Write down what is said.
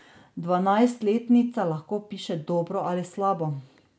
Dvanajstletnica lahko piše dobro ali slabo.